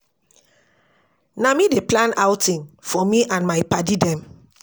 Na me dey plan outing for me and my paddy dem.